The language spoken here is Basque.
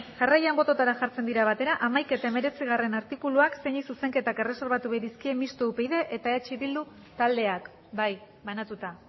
jarraian botoetara jartzen dira batera hamaika eta hemeretzigarrena artikuluak zeinei zuzenketak erreserbatu bai dizkie mistoa upydk eta eh bildu taldeak bai banatuta